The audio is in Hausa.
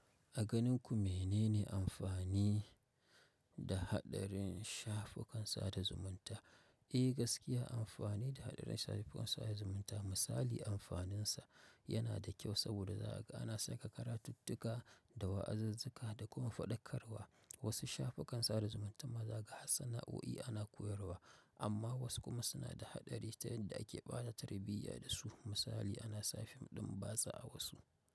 A ganin ku menene amfani da haɗarin shafukan sada zumunta? Eh gaskiya amfani da haɗarin shafukan sada zumunta misali amfaninsa yana da ƙyau saboda zaga ana saka karatuttuka da wa'azazzuka da kuma faɗakarwa. Wasu shafukan sada zumunta ma zaga har sana'o'i ana koyarwa amma wasu kuma suna da haɗari ta yadda ake ɓata tarbiyya dasu misali anasa fim ɗin batsa a wasu.